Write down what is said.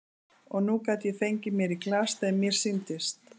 Og nú gat ég fengið mér í glas þegar mér sýndist.